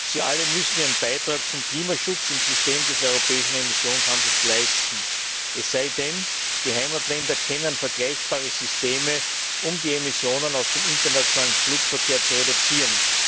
Sie alle müssen ihren Beitrag zum Klimaschutz im System des europäischen Emissionshandels leisten, es sei denn, die Heimatländer kennen vergleichbare Systeme, um die Emissionen aus dem internationalen Flugverkehr zu reduzieren.